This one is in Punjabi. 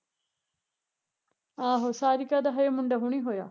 ਆਹੋ ਸਾਰਿਕਾ ਦਾ ਹਜੇ ਮੁੰਡਾ ਹੁਣੇ ਹੋਇਆ